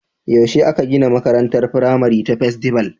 Yaushe aka gina makarantar firamare ta Festival?